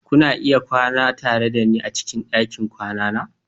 Kuna iya kwana tare da ni a cikin ɗakin kwana na